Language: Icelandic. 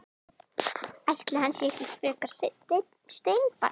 Ætli hann sé ekki frekar steinbarn.